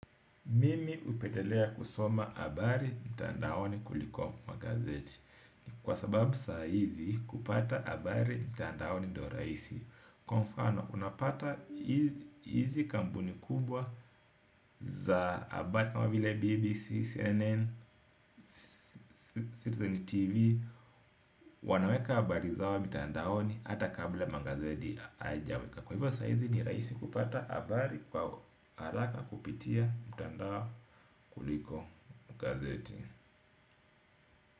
Mimi hupendelea kusoma habari mtandaoni kuliko magazeti. Kwa sababu saizi kupata habari mtandaoni ndio rahisi. Kwa mfano unapata hizi kampuni kubwa za habari kama vile BBC, CNN, Citizen TV. Wanaweka habari zao mitandaoni hata kabla magazeti haijaweka kwa hivyo saizi ni rahisi kupata habari kwa haraka kupitia mtandao kuliko magazeti.